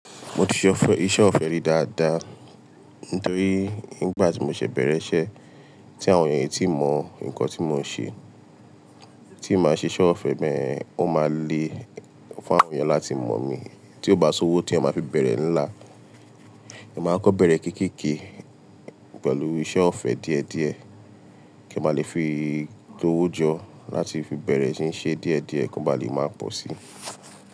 Mo ti ṣe ọ̀fẹ́ iṣẹ́ ọ̀fẹ́ rí dáadáa, nitorí nígbà tí mo ṣe bẹ̀rẹ̀ iṣẹ́ tí àwọn ènìyàn e tíì mọ̀ nǹkan tí mò ń ṣe, tí mbàá ṣe iṣẹ́ ọ̀fẹ́ beyen, o máa le fún àwọn ènìyàn láti mọ̀ mi. Tí ó bá sowó tí ẹyan máa fi bẹ̀rẹ̀ ńlá, ẹeyan máa kọ́ bẹ̀rẹ̀ kéékèèké pẹ̀lú iṣẹ́ ọ̀fẹ́ díẹ̀díẹ̀ kí ẹ máa lè fi gbowó jọ láti fi bẹ̀rẹ̀ ṣí ṣe díẹ̀díẹ̀ kí wọ́n ba lè máa pọ̀ sí.